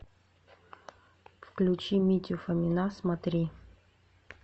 включи митю фомина смотри